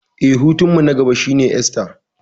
Eh, hutunmu na gaba shine Esta.